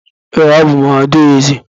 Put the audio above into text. Ee, abụ m adaeze.